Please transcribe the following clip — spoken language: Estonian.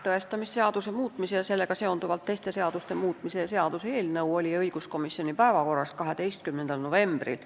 Tõestamisseaduse muutmise ja sellega seonduvalt teiste seaduste muutmise seaduse eelnõu oli õiguskomisjoni päevakorras 12. novembril.